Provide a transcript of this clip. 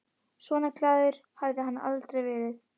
Svona glaður hafði hann aldrei verið.